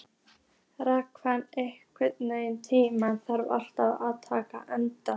Rafnar, einhvern tímann þarf allt að taka enda.